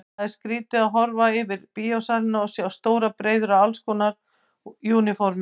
Það var skrýtið að horfa yfir bíósalina og sjá stórar breiður af allskonar úniformum.